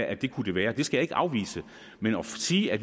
at de kunne være det skal jeg ikke afvise men at sige at